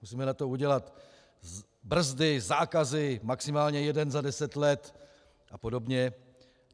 Musíme na to udělat brzdy, zákazy, maximálně jeden za deset let a podobně.